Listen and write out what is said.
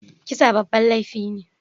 Kisa babban laifi ne.